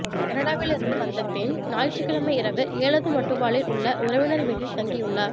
கனடாவில் இருந்து வந்த பெண் ஞாயிற்றுக்கிழமை இரவு எழதுமட்டுவாழில் உள்ள உறவினர் வீட்டில் தங்கியுள்ளார்